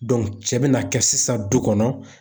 cɛ bɛna kɛ sisan du kɔnɔ.